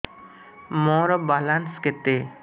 ମୋର ବାଲାନ୍ସ କେତେ